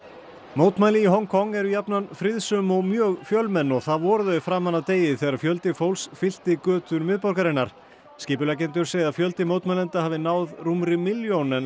mótmæli í Hong Kong eru jafnan friðsöm og mjög fjölmenn og það voru þau framan af degi þegar fjöldi fólks fyllti götur miðborgarinnar skipuleggjendur segja að fjöldi mótmælenda hafi náð rúmri milljón en